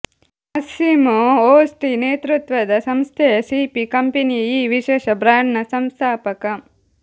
Massimo Osti ನೇತೃತ್ವದ ಸಂಸ್ಥೆಯ CP ಕಂಪೆನಿಯು ಈ ವಿಶೇಷ ಬ್ರಾಂಡ್ನ ಸಂಸ್ಥಾಪಕ